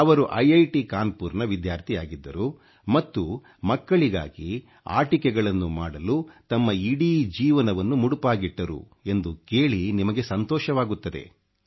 ಅವರು IIಖಿ ಕಾನ್ಪುರ್ ನ ವಿದ್ಯಾರ್ಥಿಯಾಗಿದ್ದರು ಮತ್ತು ಮಕ್ಕಳಿಗಾಗಿ ಆಟಿಕೆಗಳನ್ನು ಮಾಡಲು ತಮ್ಮ ಇಡೀ ಜೀವನವನ್ನು ಮುಡಿಪಾಗಿಟ್ಟರು ಎಂದು ಕೇಳಿ ನಿಮಗೆ ಸಂತೋಷವಾಗಬಹುದು